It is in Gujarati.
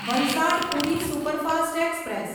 Valsad Puri superfast express